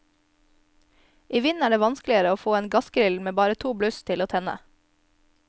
I vind er det vanskeligere å få en gassgrill med bare to bluss til å tenne.